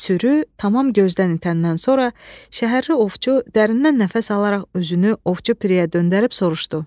Sürü tamam gözdən itəndən sonra şəhərli ovçu dərindən nəfəs alaraq özünü Ovçu Piriyə döndərib soruşdu.